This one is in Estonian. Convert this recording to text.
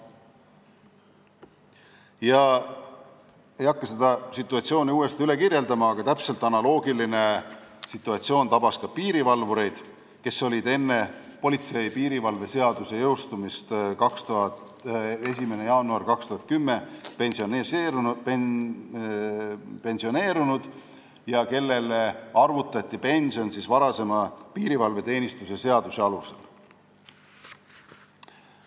Ma ei hakka seda situatsiooni uuesti üle kirjeldama, aga analoogiline asi tabas ka piirivalvureid, kes olid pensioneerunud enne politsei ja piirivalve seaduse jõustumist 1. jaanuaril 2010 ja kellele arvutati pension varasema seaduse, piirivalveteenistuse seaduse alusel.